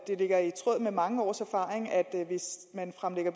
det ligger i tråd med mange års erfaring at hvis man fremsætter